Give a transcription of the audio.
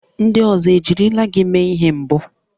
Ndị ọzọ ejirila gị mee ihe mbụ?